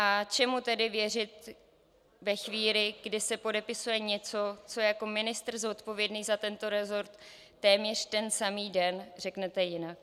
A čemu tedy věřit ve chvíli, kdy se podepisuje něco, co jako ministr zodpovědný za tento resort téměř ten samý den řeknete jinak?